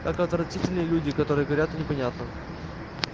как отвратительны люди которые говорят о непонятном